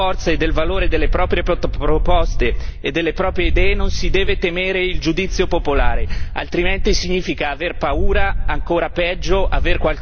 Termino ricordando a tutti voi che se si è consapevoli della forza e del valore delle proprie proposte e delle proprie idee non si deve temere il giudizio popolare.